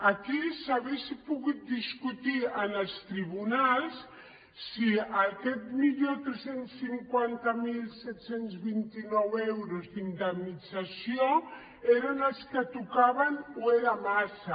aquí s’hauria pogut discutir en els tribunals si aquest milió tres cents i cinquanta mil set cents i vint nou euros d’indemnització eren els que tocaven o era massa